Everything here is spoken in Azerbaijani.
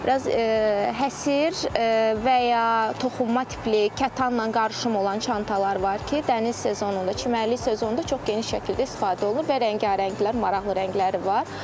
Biraz həsir və ya toxunma tipli, kətanla qarışım olan çantalar var ki, dəniz sezonunda, çimərlik sezonunda çox geniş şəkildə istifadə olunur və rəngarənglilər, maraqlı rəngləri var.